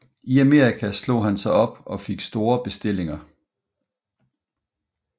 I Amerika slog han sig op og fik store bestillinger